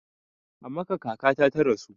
A Makkah kakata ta rasu